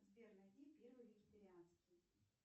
сбер найди первый вегетарианский